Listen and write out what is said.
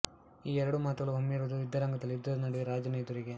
ಈ ಎರಡೂ ಮಾತುಗಳು ಹೊಮ್ಮಿರುವುದು ಯುದ್ಧರಂಗದಲ್ಲಿ ಯುದ್ಧದ ನಡುವೆ ರಾಜನ ಎದುರಿಗೆ